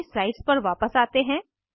अपनी स्लाइड्स पर वापस आते हैं